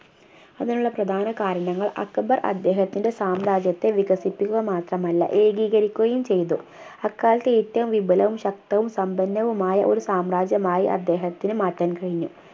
അതിനുള്ള പ്രധാന കാരണങ്ങൾ അക്ബർ അദ്ദേഹത്തിന്റെ സാമ്രാജ്യത്തെ വികസിപ്പിക്കുക മാത്രമല്ല ഏകീകരിക്കുകയും ചെയ്തു അക്കാലത്ത് ഏറ്റവും വിപലവും ശക്തവും സമ്പന്നവുമായ ഒരു സാമ്രാജ്യമായി അദ്ദേഹത്തിന് മാറ്റാൻ കഴിഞ്ഞു